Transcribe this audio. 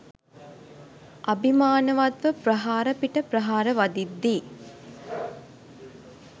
අභිමානවත්ව ප්‍රහාර පිට ප්‍රහාර වදිද්දී